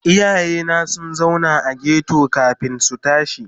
Iyayena sun zauna a ghetto kafin su tashi.